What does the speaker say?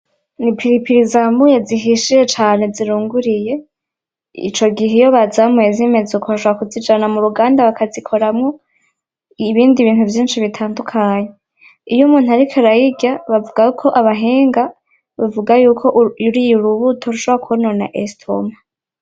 Ipiripiri zamuye zihishiye cane ziruguriye ico gihe iyo bazamuye zimeze uko bashobora kuzijana muruganda bakazikoramwo ibindi bintu vyinshi bitadukanye, iyo umuntu ariko arayirya bavuga ko abahinga, bavugako uriye urubuto rushobora kwonona estomac.